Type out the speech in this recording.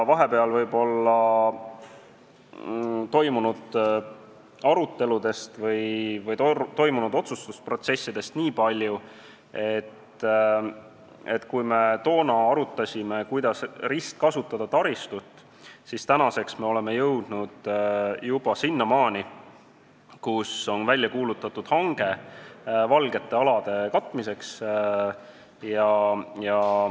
Vahepeal toimunud aruteludest või otsustusprotsessidest nii palju, et kui me toona arutasime, kuidas taristut ristkasutada, siis tänaseks oleme jõudnud juba sinnamaani, et on välja kuulutatud hange "valgete alade" katmiseks.